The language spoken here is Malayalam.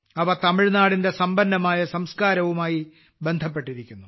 അവ തമിഴ്നാടിന്റെ സമ്പന്നമായ സംസ്കാരവുമായി ബന്ധപ്പെട്ടിരിക്കുന്നു